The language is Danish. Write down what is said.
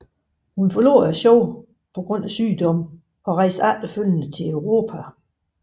Hun forlod dette show på grund af sygdom og efterfølgende rejste til Europa